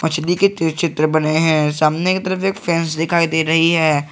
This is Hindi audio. सिंडिकेट चित्र बने हैं सामने की तरफ एक फैंस दिखाई दे रही है।